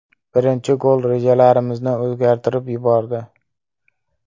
Birinchi gol rejalarimizni o‘zgartirib yubordi.